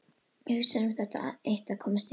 Hugsar um það eitt að komast í burtu.